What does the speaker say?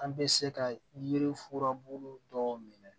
An bɛ se ka yiri furabulu dɔw minɛ